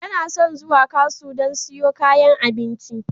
Yana son zuwa kasu don siyo kayan abinci.